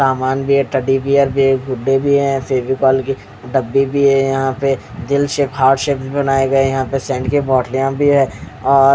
सामान भी है टेडी बीआर भी है गुड्डे फेविकोल के डब्बे भी है यहाँ पे दिल शेप हार्ट शेप बनाये गए है यहाँ पे सेंट की बोतल है और --